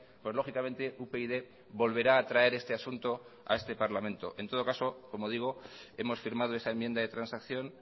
pues lógicamente upyd volverá a traer este asunto a este parlamento en todo caso como digo hemos firmado esa enmienda de transacción